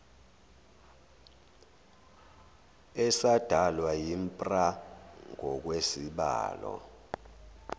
esadalwa yimpra ngokwezibalo